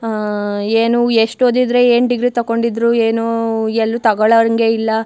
ಆಹ್ಹ್ ಏನು ಎಷ್ಟು ಓದಿದ್ರೆ ಏನು ಡಿಗ್ರಿ ತಗೊಂಡಿದ್ರು ಏನು ಎಲ್ಲು ತಗೋಳೋ ಹಂಗೆ ಇಲ್ಲ.